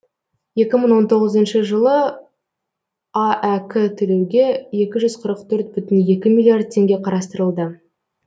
екі мың он тоғызыншы жылы аәк төлеуге екі жүз қырық төрт бүтін екі миллиард теңге қарастырылды